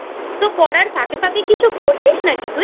তো পড়ার ফাঁকে ফাঁকে কিছুকরছিস নাকি তুই?